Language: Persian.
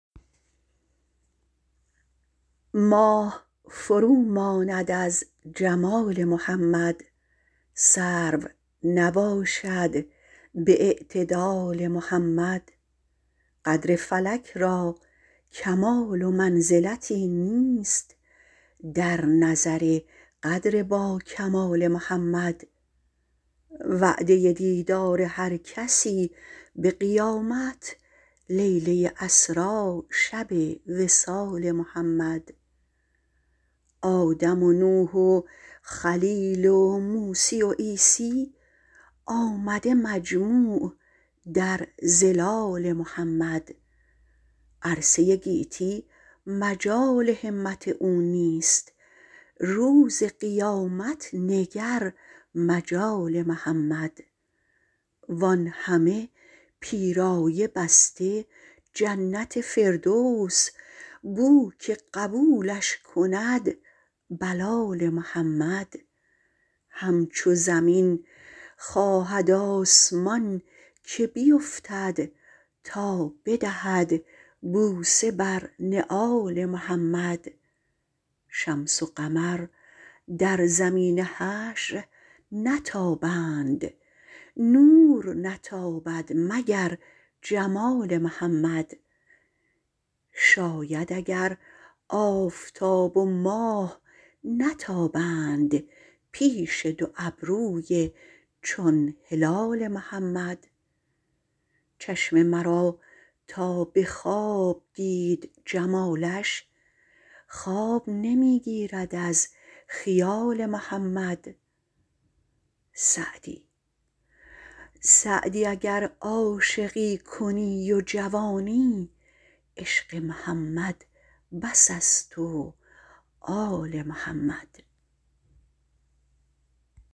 ماه فروماند از جمال محمد سرو نباشد به اعتدال محمد قدر فلک را کمال و منزلتی نیست در نظر قدر با کمال محمد وعده دیدار هر کسی به قیامت لیله اسری شب وصال محمد آدم و نوح و خلیل و موسی و عیسی آمده مجموع در ظلال محمد عرصه گیتی مجال همت او نیست روز قیامت نگر مجال محمد وآنهمه پیرایه بسته جنت فردوس بو که قبولش کند بلال محمد همچو زمین خواهد آسمان که بیفتد تا بدهد بوسه بر نعال محمد شمس و قمر در زمین حشر نتابد نور نتابد مگر جمال محمد شاید اگر آفتاب و ماه نتابند پیش دو ابروی چون هلال محمد چشم مرا تا به خواب دید جمالش خواب نمی گیرد از خیال محمد سعدی اگر عاشقی کنی و جوانی عشق محمد بس است و آل محمد